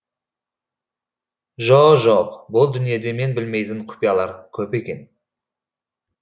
жо жоқ бұл дүниеде мен білмейтін құпиялар көп екен